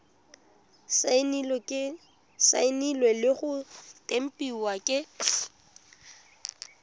saenilwe le go tempiwa ke